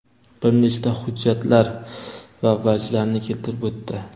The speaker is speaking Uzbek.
bir nechta hujjatlar va vajlarni keltirib o‘tdi.